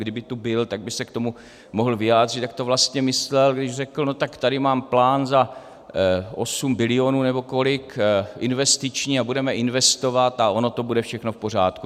Kdyby tu byl, tak by se k tomu mohl vyjádřit, jak to vlastně myslel, když řekl, no tak tady mám plán za 8 bilionů, nebo kolik, investiční a budeme investovat a ono to bude všechno v pořádku.